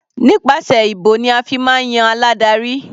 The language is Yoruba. Nípasẹ̀ ìbò ni a fi máa ń yan aládarí.